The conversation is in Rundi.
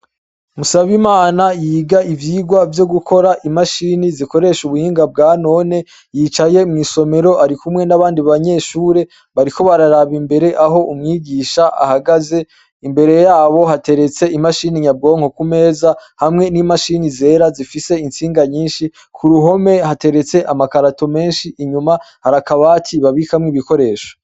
Musabimana yiga ivyigwa vyo gukora imashini zikoresha ubuhinga bwanone yicaye mw'isomero ari kumwe n'abandi banyeshure bariko bararaba imbere aho umwigisha ahagaze, imbere yabo hateretse imashini nyabwonko kumeza hamwe n'imashini zera zifise intsinga nyinshi, ku ruhome hateretse amakarato menshi inyuma hari akabaki babikamwo ibikoresho.